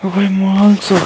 कोई सा --